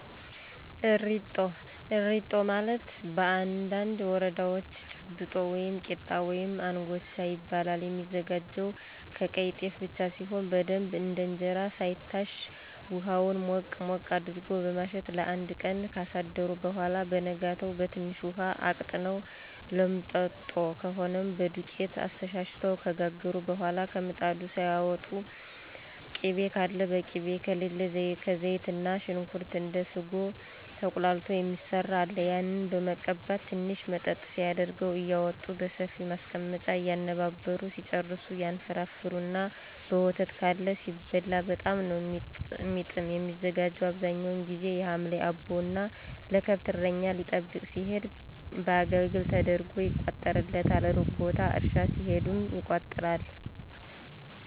እሪጦ፦ እሪጦ ማለት በአንዳንድ ወረዳወች ጭብጦ ወይም ቂጣ ወይም እንጎቻ ይባላል። የሚዘጋጀውም ከቀይ ጤፍ ብቻ ሲሆን በደንብ እንደ እንጀራ ሳይታሽ ሁሀውን ሞቅ ሞቅ አድርጎ በማሸት ለአንድ ቀን ካሳደሩት በኋላ በነጋታው በትንሽ ውሀ አቅጥነው ሎምጥጦ ከሆነም በዶቄት አስተሻሽተው ከጋገሩ በኋላ ከምጣዱ ሳያወጡ ቅቤ ካለ በቅቤ ከሌለ ከዘይትና ሽንኩርት እንደ ስጎ ተቁላልቶ የሚሰራ አለ ያንን በመቀባት ትንሽ መጠጥ ሲያደርገው እያወጡ በሰፊ ማስቀመጫ እየነባበሩ ሲጨርሱ ይንፈረፈርና በወተት (ካለ) ሲበላ በጣም ነው የሚጥም። የሚዘጋጀው አብዛኛውን ጊዚ የሀምሌ አቦ እና ለከብት እረኛ ሊጠብቅ ሲሄድ በአገልግል ተደርጎ ይቋጠርለታል። እሩቅ ቦታ እርሻ ሲሄድም ይቋጠራል።